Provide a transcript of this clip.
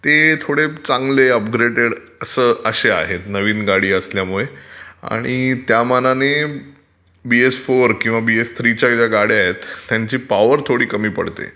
ते थोडे चांगले अपग्रेडट असे आहेत. नवीन गाडी असल्यामुळे आणि त्यामानानी बीएस- फोर किंवा बीएस - थ्रीच्या ज्या गाड्या आहेत त्यांचे पॉवर थोडी कमी पडते